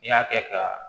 N'i y'a kɛ ka